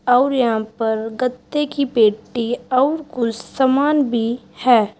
और यहां पर गत्ते की पेटी और कुछ समान भी है।